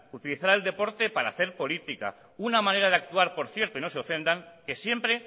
utilizar el deporte para hacer política una manera de actuar por cierto y no se ofendan que siempre